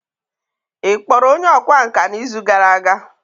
ị kpọrọ onye ọkwá nkà n'izu gara aga?